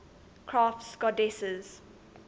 crafts goddesses